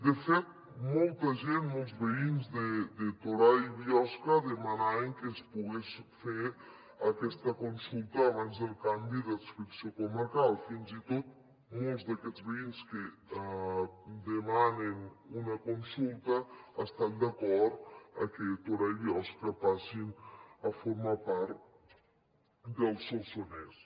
de fet molta gent molts veïns de torà i biosca demanaven que es pogués fer aquesta consulta abans del canvi d’adscripció comarcal fins i tot molts d’aquests veïns que demanen una consulta estan d’acord que torà i biosca passin a formar part del solsonès